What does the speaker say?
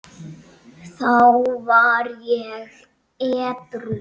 Þá var ég edrú.